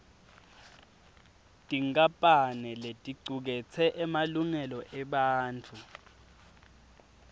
tinkampane leticuketse emalungelo ebantfu